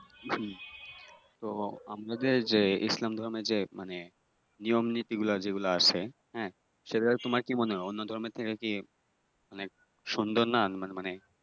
হম তো আমাদের যে ইসলাম ধর্মের যে মানে নিয়ম নীতিগুলো যেগুলা আছে হ্যাঁ সে জায়গায় তোমার কি মনে হয় অন্য ধর্মের থেকে কি অনেক সুন্দর না মানে